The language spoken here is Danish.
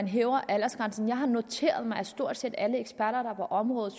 hæve aldersgrænsen har jeg noteret mig at stort set alle eksperter på området